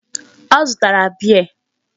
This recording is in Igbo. Ọ zụtara beer.